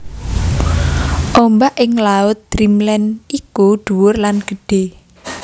Ombak ing laut Dreamland iku dhuwur lan gedhe